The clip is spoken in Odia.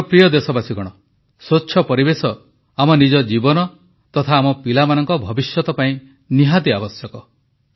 ମୋର ପ୍ରିୟ ଦେଶବାସୀଗଣ ସ୍ୱଚ୍ଛ ପରିବେଶ ଆମ ନିଜ ଜୀବନ ତଥା ଆମ ପିଲାମାନଙ୍କ ଭବିଷ୍ୟତ ପାଇଁ ଆବଶ୍ୟକ